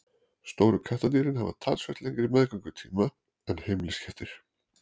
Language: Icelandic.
stóru kattardýrin hafa talsvert lengri meðgöngutíma en heimiliskettir